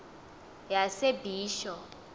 yasebisho